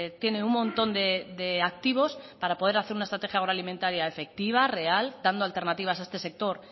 tiene un montón de activos para poder hacer una estrategia agroalimentaria efectiva real dando alternativas a este sector